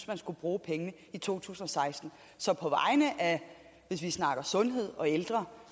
man skulle bruge pengene i to tusind og seksten så hvis vi snakker sundhed og ældre